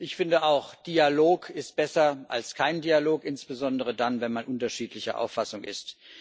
Ich finde auch Dialog ist besser als kein Dialog, insbesondere dann, wenn man unterschiedlicher Auffassung ist.